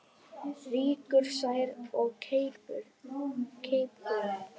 Rýkur sær of keipum.